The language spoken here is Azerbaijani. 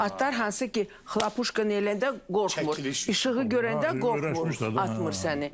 O atlar hansı ki, xlapuşka eləyəndə qorxmur, işığı görəndə qorxmur, atmır səni.